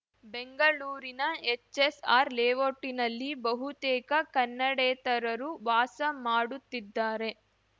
ಬೆಂಗಳೂರಿನ ಎಚ್‌ಎಸ್‌ಆರ್‌ ಲೇವೋಟಿನಲ್ಲಿ ಬಹುತೇಕ ಕನ್ನಡೇತರರು ವಾಸ ಮಾಡುತ್ತಿದ್ದಾರೆ